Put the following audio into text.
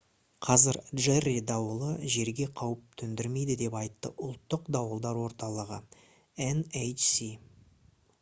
қазір джерри дауылы жерге қауіп төндірмейді деп айтты ұлттық дауылдар орталығы nhc